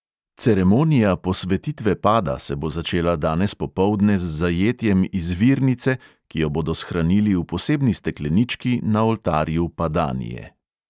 Ceremonija posvetitve pada se bo začela danes popoldne z zajetjem izvirnice, ki jo bodo shranili v posebni steklenički na oltarju padanije.